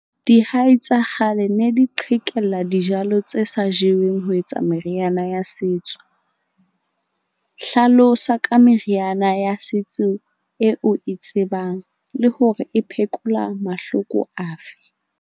Dihai tsa kgale ne di qhekella dijalo tse sa jeweng ho etsa meriana ya setso, hlalosa ka meriana ya setso eo e tsebang le hore e phekola mahloko afe.